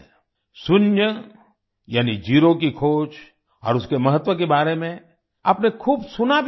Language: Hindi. शून्य यानी जीरो की खोज और उसके महत्व के बारे में आपने खूब सुना भी होगा